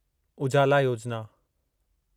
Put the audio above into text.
Ujala Yojana